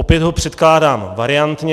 Opět ho předkládám variantně.